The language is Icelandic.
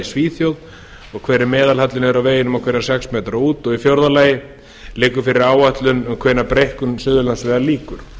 svíþjóð og hver er meðalhallinn niður af vegunum á hverja sex metra út fjórða liggur fyrir áætlun um hvenær breikkun suðurlandsvegar lýkur